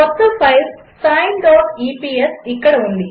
కొత్త ఫైల్ sineఇపిఎస్ ఇక్కడ ఉంది